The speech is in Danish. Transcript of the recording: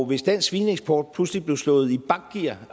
hvis dansk svineeksport pludselig blev slået i bakgear